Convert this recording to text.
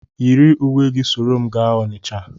Yiri uwe gị soro m gaa Onitsha!